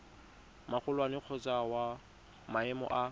magolwane kgotsa wa maemo a